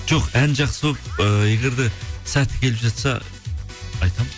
жоқ ән жақсы болып ыыы егер де сәті келіп жатса айтамын